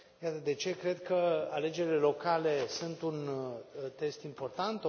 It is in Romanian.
Iată de ce cred că alegerile locale sunt un test important